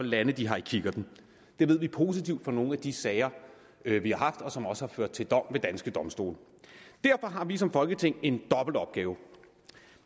lande de har i kikkerten det ved vi positivt fra nogle af de sager vi vi har haft og som også har ført til dom ved danske domstole derfor har vi som folketing i en dobbelt opgave